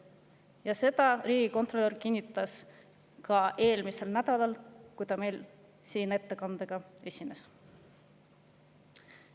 Sedasama kinnitas riigikontrolör eelmisel nädalal, kui ta siin meie ees ettekandega esines.